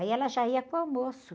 Aí ela já ia com o almoço.